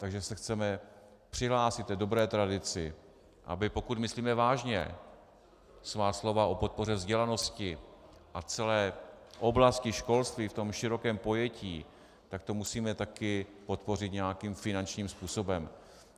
Takže se chceme přihlásit k dobré tradici, aby pokud myslíme vážně svá slova o podpoře vzdělanosti a celé oblasti školství v tom širokém pojetí, tak to musíme taky podpořit nějakým finančním způsobem.